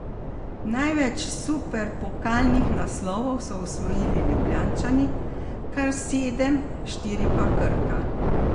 Največ superpokalnih naslovov so osvojili Ljubljančani, kar sedem, štiri pa Krka.